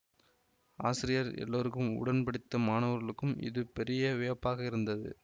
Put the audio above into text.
ஆசிரியர் எல்லோருக்கும் உடன்படித்த மாணவர்களுக்கும் இது பெரிய வியப்பாக இருந்தது